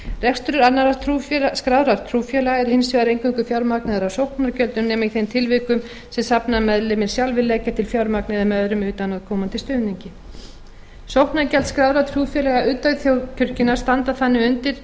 heild rekstur annarra skráðra trúfélaga er hins vegar eingöngu fjármagnaður af sóknargjöldum nema í þeim tilvikum sem safnaðarmeðlimir sjálfir leggja til fjármagn eða með öðrum utanaðkomandi stuðningi sóknargjöld skráðra trúfélaga utan þjóðkirkjunnar standa þannig undir